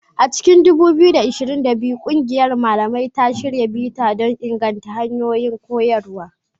A cikin 2022, ƙungiyar malamai ta shirya bita don inganta hanyoyin koyarwa.